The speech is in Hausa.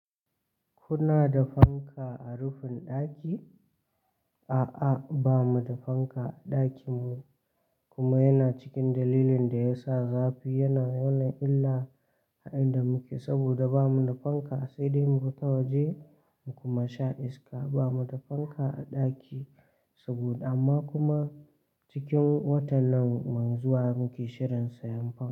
Kuna da fanka a rufin ɗaki? A'a, ba mu da fanka a ɗakin mu kuma yana cikin dalilin da ya sa zafi yana mana illa a inda muke saboda ba mu da fanka sai dai mu fita waje mu kuma sha iska. Ba mu da fanka a ɗaki sabo amma kuma cikin watan nan mai zuwa muke shirin siyan fanka.